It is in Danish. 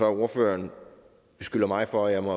ordføreren beskylder mig for at jeg må